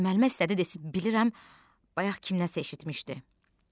Müəllimə istədi desə bilirəm, bayaq kimdənsə eşitmişdi.